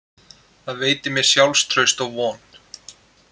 Það veitir mér sjálfstraust og von.